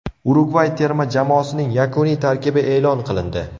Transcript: Urugvay terma jamoasining yakuniy tarkibi e’lon qilindi.